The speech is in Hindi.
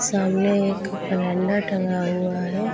सामने एक कैलेंडर टंगा हुआ है।